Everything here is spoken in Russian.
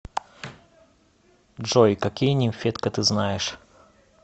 джой какие нимфетка ты знаешь